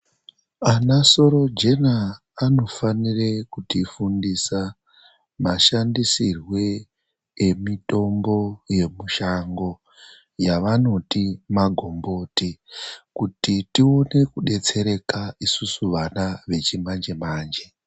Ana sorojena anofanire kutifundisa mashandisirwe emitombo yemushango yavanoti magomboti kuti tione kudetsereka isusu vana vechimanje manje.